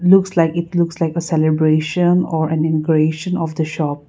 looks like it looks like a celebration or an ingration of the shop.